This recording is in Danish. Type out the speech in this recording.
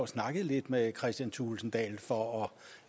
snakkede lidt med kristian thulesen dahl for